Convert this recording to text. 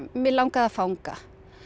mig langaði að fanga